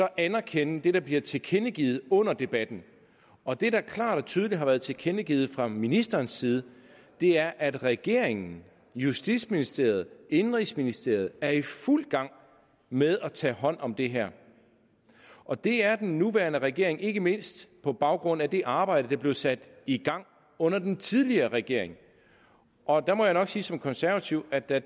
anerkende det der bliver tilkendegivet under debatten og det der klart og tydeligt har været tilkendegivet fra ministerens side er at regeringen justitsministeriet indenrigsministeriet er i fuld gang med at tage hånd om det her og det er den nuværende regering ikke mindst på baggrund af det arbejde der blev sat i gang under den tidligere regering og der må jeg nok sige som konservativ at da